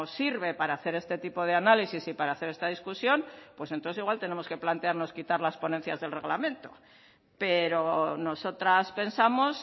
sirve para hacer este tipo de análisis y para hacer esta discusión pues entonces igual tenemos que plantearnos quitar las ponencias del reglamento pero nosotras pensamos